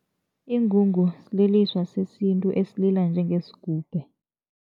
Ingungu sililiswa sesintu esilila njengesigubhe.